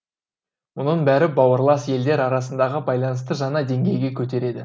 мұның бәрі бауырлас елдер арасындағы байланысты жаңа деңгейге көтереді